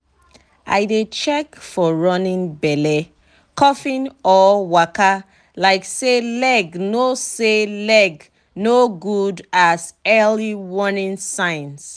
i dey check for running belle coughing or waka like say leg no say leg no good as earl warning signs.